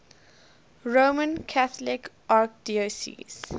roman catholic archdiocese